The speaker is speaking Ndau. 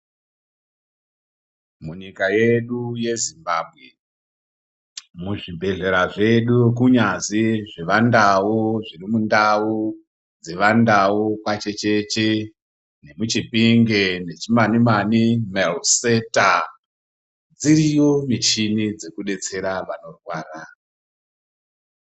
Munyika yedu yezvimbambwe, muzvibhedhlera zvedu kunyazi zvevandau zviri mundau dzevandau kwachecheche nemuchipinge nemuchimani-mani, maruseta dziriyo michini dzekubetsera vanorwara.